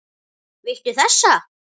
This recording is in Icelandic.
Viltu þessa?